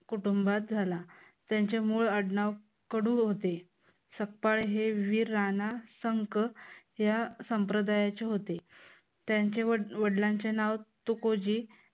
कुटुंबात झाला. त्यांचे मूळ आडनाव कडू होते. सपकाळ हे वीर राणा संक या संप्रदायाचे होते. त्यांच्या वडिलांचे नाव तुकोजी